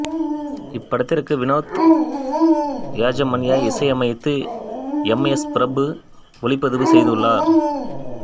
இப்படத்திற்கு வினோத் யஜமான்யா இசையமைத்து M S Prabhu ஒளிப்பதிவு செய்துள்ளார்